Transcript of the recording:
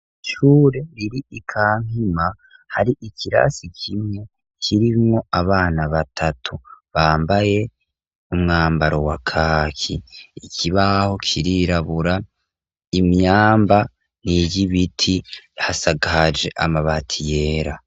Ishure riri i Kampima hari ikirasi kimwe kirimwo abana batatu bambaye umwambaro wa kaki, ikibaho kirirabura, imyamba n'iyibiti, hasakaje amabati yera.